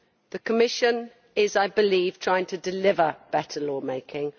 The Commission is, I believe, trying to deliver better lawmaking.